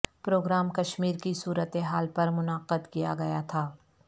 programme Kashmir کی صورت حال پر منعقد کیا گیا تھا